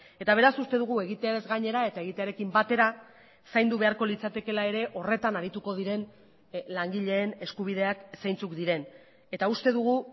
eta beraz uste dugu egiteaz gainera eta egitearekin batera zaindu beharko litzatekeela ere horretan arituko diren langileen eskubideak zeintzuk diren eta uste dugu